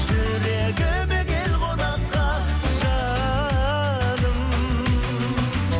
жүрегіме кел қонаққа жаным